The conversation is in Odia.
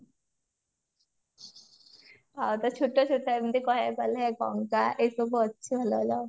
ଆଉ ତ ଛୋଟ ଛୋଟ ଏମତି କହିବାକୁ ଗଲେ ଗଙ୍ଗା ଏସବୁ ଅଛି ଭଲ ଭଲ